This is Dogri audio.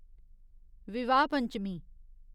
विवाह पंचमी